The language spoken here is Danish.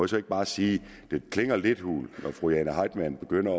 så ikke bare sige at det klinger lidt hult når fru jane heitmann begynder